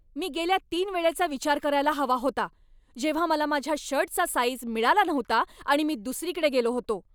मी गेल्या तीन वेळेचा विचार करायला हवा होता, जेव्हा मला माझ्या शर्टचा साईझ मिळाला नव्हता आणि मी दुसरीकडे गेलो होतो.